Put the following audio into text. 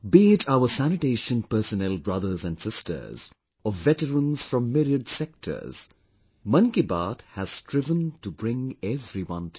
Be it sanitation personnel brothers and sisters or veterans from myriad sectors, 'Mann Ki Baat' has striven to bring everyone together